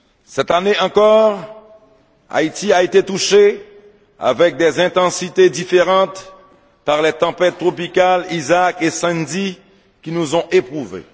Cette année encore, Haïti a été touchée, avec des intensités différentes, par les tempêtes tropicales Isaac et Sandy, qui nous ont éprouvés.